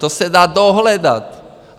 To se dá dohledat.